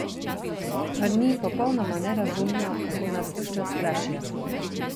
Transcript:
Mar ni popolnoma nerazumno, kako nas ves čas strašijo?